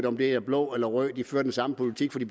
om de er blå eller røde de fører den samme politik for det